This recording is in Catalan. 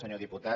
senyor diputat